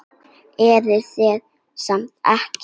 Eruð þið ekki saman?